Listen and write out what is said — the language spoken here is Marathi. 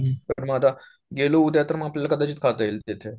तर मग आता गेलो उद्या तर मग आपल्याला कदाचित खाता येईल तिथे